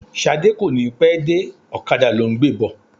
Ṣadé kò ní pẹ́ dé, ọ̀kadà ló ń gbé bọ̀.